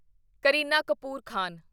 Kareena Kapoor Khan